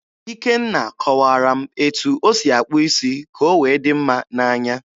Ikenna kọwaara m etu o si akpụ isi ka o wee dị mma n'anya.